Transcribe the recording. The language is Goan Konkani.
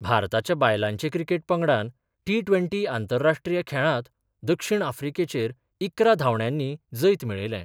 भारताच्या बायलांचे क्रिकेट पंगडान टी ट्वेंटी आंतराष्ट्रीय खेळांत दक्षिण आफ्रिकेचेर इकरा धावंड्यानी जैत मेळयले.